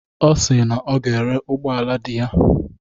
Ọ si na ọ ga-ere ụgbọala di ya.